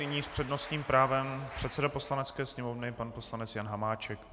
Nyní s přednostním právem předseda Poslanecké sněmovny pan poslanec Jan Hamáček.